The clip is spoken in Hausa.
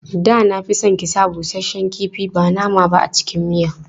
Da na fi son ki sa busasshen kifi ba nama ba a cikin miyan.